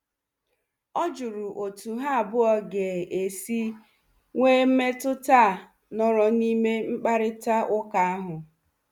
Ọ jụrụ otu ha abụọ ga-esi nwee mmetụta a nụrụ n'ime mkparịta ụka ahụ.